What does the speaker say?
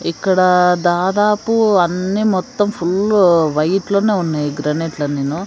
ఇక్కడ దాదాపు అన్ని మొత్తం ఫుల్లు వైట్ లోనే ఉన్నాయి గ్రానైట్ లన్నిను.